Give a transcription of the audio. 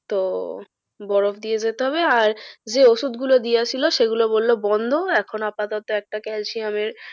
তো বরফ দিয়ে যেতে হবে আর যে ওষুধ গুলো দিয়েছিলো সেগুলো বললো বন্ধ এখন আপাতত একটা calcium এর